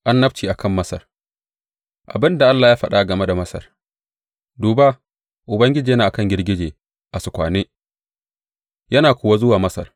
Annabci a kan Masar Abin da Allah ya faɗa game da Masar, Duba, Ubangiji yana a kan girgije a sukwane yana kuwa zuwa Masar.